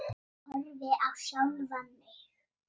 Horfi á sjálfa mig.